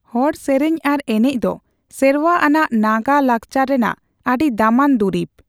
ᱦᱚᱲ ᱥᱮᱨᱮᱧ ᱟᱨ ᱮᱱᱮᱡ ᱫᱚ ᱥᱮᱨᱣᱟ ᱟᱱᱟᱜ ᱱᱟᱜᱟ ᱞᱟᱠᱪᱟᱨ ᱨᱮᱱᱟᱜ ᱟᱹᱰᱤ ᱫᱟᱢᱟᱱ ᱫᱩᱨᱤᱵ ᱾